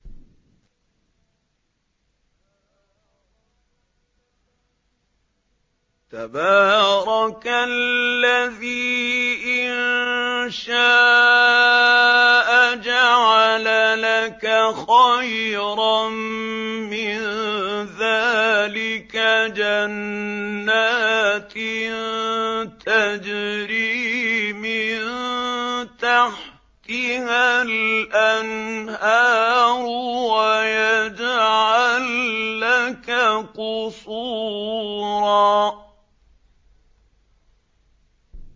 تَبَارَكَ الَّذِي إِن شَاءَ جَعَلَ لَكَ خَيْرًا مِّن ذَٰلِكَ جَنَّاتٍ تَجْرِي مِن تَحْتِهَا الْأَنْهَارُ وَيَجْعَل لَّكَ قُصُورًا